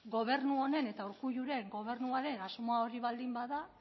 gobernu honen eta urkulluren gobernuaren asmoa hori baldin bada